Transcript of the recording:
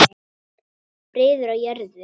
Friður á jörðu.